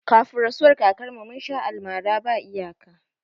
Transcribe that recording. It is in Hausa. Kafin rasuwar kakar mu, mun sha almara ba iyaka